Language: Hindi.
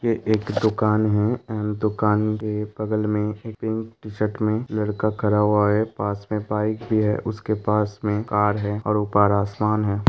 ये एक दुकान है एण्ड दुकान के बगल में एक पिंक टी-शर्ट में लड़का खड़ा हुआ है पास में बाइक भी है उसके पास में कार है और ऊपर आसमान है।